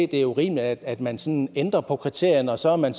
det er urimeligt at man sådan ændrer på kriterierne og så er man